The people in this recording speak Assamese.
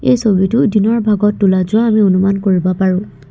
এই ছবিতো দিনৰ ভাগত তোলা যোৱা আমি অনুমান কৰিব পাৰোঁ।